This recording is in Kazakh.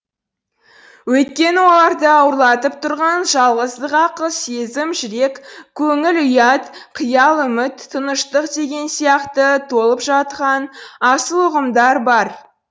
өйткені оларды ауырлатып тұрған жалғыздық ақыл сезім жүрек көңіл ұят қиял үміт тыныштық деген сияқты толып жатқан асыл ұғымдар бар